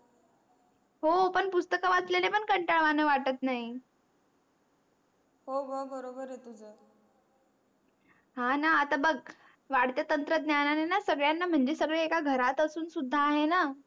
हो पण पुस्तक वाचलेले पण कांटाळ वाण वाटत नाही हो ग बरोबर आहे. तुझ हा णा आता बग वाडत्या तंत्रज्ञाने णा सगळ्यांना म्हणजे सगळे एका घरात असून सुद्धा आहेण